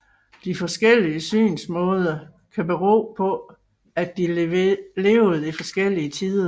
De forskellige synsmåder kan bero på at de levede i forskellige tider